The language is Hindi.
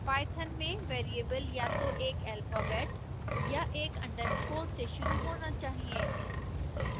python में वेरिएबल या तो एक alphabet या एक underscore से शुरू होना चाहिए